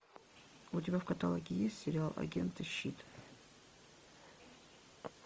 у тебя в каталоге есть сериал агенты щит